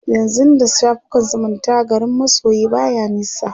yanzun da shafukan zumunta garin masoyi baya nisa